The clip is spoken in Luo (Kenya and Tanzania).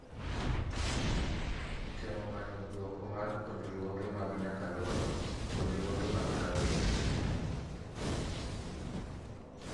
Temo manyo dwoko mar puonjruoge mag nyakalondo, puonjruoge mag rawere